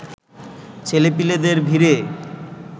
ছেলেপিলেদের ভিড়ে